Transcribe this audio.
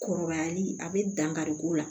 Kɔrɔbayali a bɛ dankari k'o la